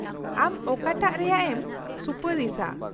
ᱟᱢ ᱚᱠᱟᱴᱟᱜ ᱨᱮᱭᱟᱜ ᱮᱢ ᱥᱩᱯᱟᱨᱤᱥᱟ ?